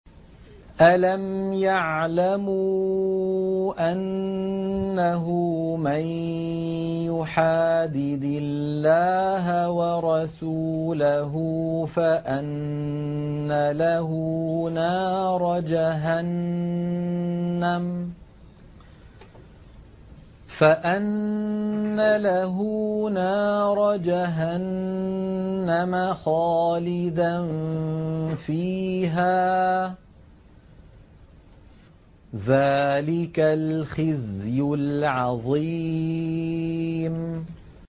أَلَمْ يَعْلَمُوا أَنَّهُ مَن يُحَادِدِ اللَّهَ وَرَسُولَهُ فَأَنَّ لَهُ نَارَ جَهَنَّمَ خَالِدًا فِيهَا ۚ ذَٰلِكَ الْخِزْيُ الْعَظِيمُ